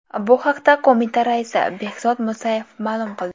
Bu haqda qo‘mita raisi Behzod Musayev ma’lum qildi .